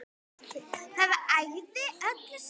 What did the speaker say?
Það ægði öllu saman.